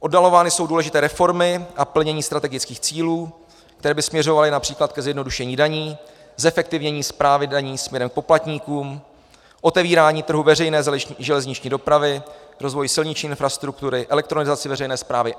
Oddalovány jsou důležité reformy a plnění strategických cílů, které by směřovaly například ke zjednodušení daní, zefektivnění správy daní směrem k poplatníkům, otevírání trhů veřejné železniční dopravy, rozvoj silniční infrastruktury, elektronizaci veřejné správy.